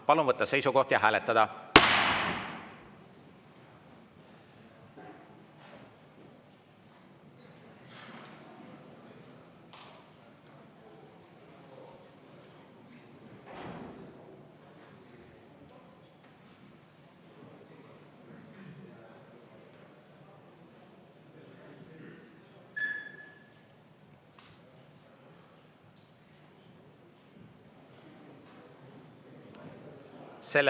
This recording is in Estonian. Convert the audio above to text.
Palun võtta seisukoht ja hääletada!